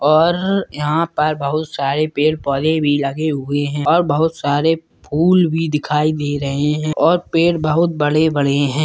और यहाँ पर बहुत सारे पेड़-पौधे भी लगे हुए हैं और बहुत सारे फूल भी दिखाई दे रहें हैं और पेड़ बहुत बड़े-बड़े हैं।